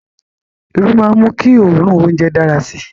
Iru maa n mu ki oorun ounjẹ dara si